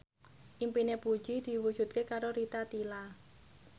impine Puji diwujudke karo Rita Tila